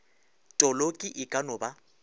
toloki e ka no ba